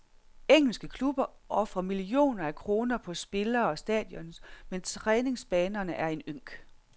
Engelske klubber ofrer millioner af kroner på spillere og stadions, men træningsbanerne er en ynk.